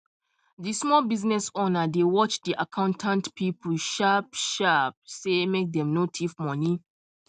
the small business owner dey watch the accountant people sharp sharp um make dem no thief money